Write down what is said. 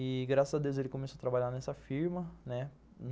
E graças a Deus ele começou a trabalhar nessa firma, né